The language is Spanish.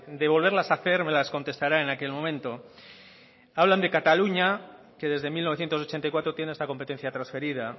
de volverlas a hacer me las contestará en aquel momento hablan de cataluña que desde mil novecientos ochenta y cuatro tiene esta competencia transferida